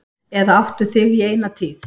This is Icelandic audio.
Eða áttu þig í eina tíð.